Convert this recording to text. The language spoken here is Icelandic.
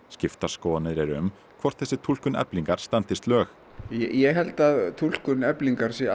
skiptar skoðanir eru um hvort þessi túlkun Eflingar standist lög ég held að túlkun Eflingar sé